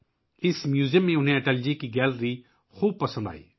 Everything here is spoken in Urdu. اس میوزیم میں اٹل جی کی گیلری انہیں بہت پسند آئی